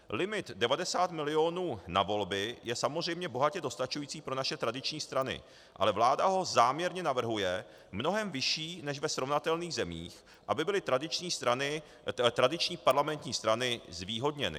Limit 90 milionů na volby je samozřejmě bohatě dostačující pro naše tradiční strany, ale vláda ho záměrně navrhuje mnohem vyšší než ve srovnatelných zemích, aby byly tradiční parlamentní strany zvýhodněny.